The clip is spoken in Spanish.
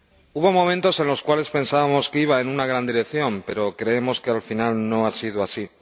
Hubo momentos en los cuales pensábamos que iba en una gran dirección, pero creemos que, al final, no ha sido así.